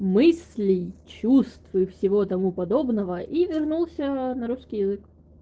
мыслей чувств и всего того подобного и вернулся на русский язык